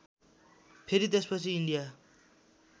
फेरि त्यसपछि इन्डिया